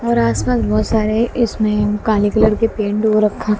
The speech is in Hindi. और आस पास बहोत सारे इसमें काले कलर की पैंट हो रखा--